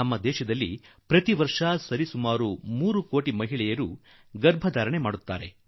ನಮ್ಮ ದೇಶದಲ್ಲಿ ಪ್ರತಿವರ್ಷ ಸರಿಸುಮಾರು 3 ಕೋಟಿ ಮಹಿಳೆಯರು ಗರ್ಭಿಣಿಯರಾಗುತ್ತಾರೆ